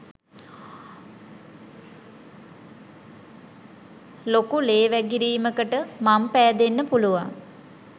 ලොකු ලේ වැගිරීමකට මං පෑදෙන්න පුළුවන්